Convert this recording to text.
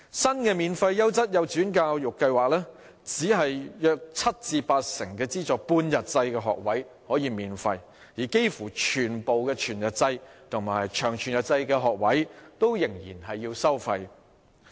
新的"免費優質幼稚園教育計劃"只有約七至八成的資助半日制學位可以免費，而幾乎全部全日制及長全日制學位仍然需要收費。